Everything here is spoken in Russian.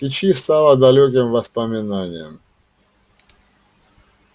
кичи стала далёким воспоминанием